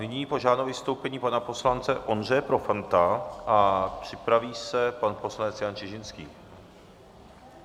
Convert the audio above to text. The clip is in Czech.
Nyní požádám o vystoupení pana poslance Ondřeje Profanta a připraví se pan poslanec Jan Čižinský.